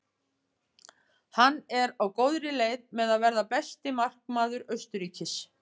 Hann er á góðri leið með að verða besti markvörður Austurríkis.